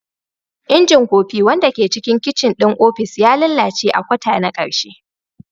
Injin kofi, wanda ke cikin kicin ɗin ofis, ya lalace a kwata na ƙarshe.